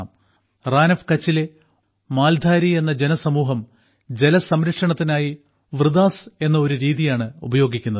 Rann of കച്ചിലെ മാൽധാരി എന്ന ജനസമൂഹം ജലസംരക്ഷണത്തിനായി വൃദാസ് എന്ന ഒരു രീതിയാണ് ഉപയോഗിക്കുന്നത്